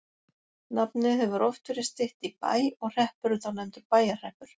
Nafnið hefur oft verið stytt í Bæ og hreppurinn þá nefndur Bæjarhreppur.